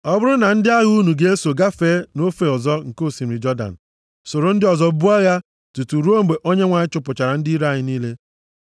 Ọ bụrụ na ndị agha unu ga-eso gafee nʼofe ọzọ nke osimiri Jọdan, soro ndị ọzọ buo agha tutu ruo mgbe Onyenwe anyị chụpụchara ndị iro ya niile,